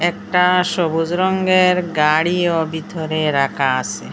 একটা সবুজ রঙ্গের গাড়িও বিথরে রাখা আসে।